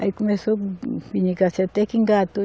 Aí começou, até que engatou.